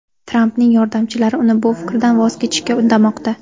Trampning yordamchilari uni bu fikrdan voz kechishga undamoqda.